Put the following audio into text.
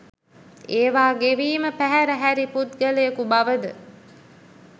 ඒවා ගෙවීම පැහැර හැරි පුද්ගලයකු බවද